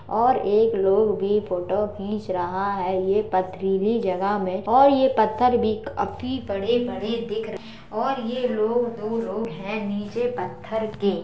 और एक लोग भी फोटो खींच रहा है ये पथरीली जगह में और ये पत्थर भी काफी बड़े-बड़े दिख रहे और ये लोग दो लोग हैं निचे पत्थर के।